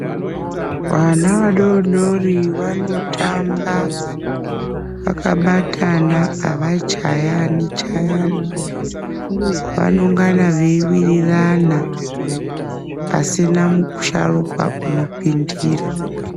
Vana vadodori vanotamba akabatana avachayani chayani vanongana veiwirarana pasina musharukwa unopindira.